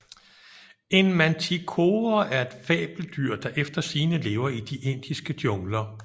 En manticore er et fabeldyr der efter sigende lever i de indiske jungler